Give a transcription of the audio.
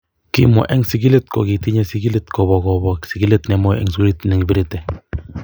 Kimwa en sigilet ko ketinye sigilet kobo kobo sigilet nemoi en sugul en kibirete.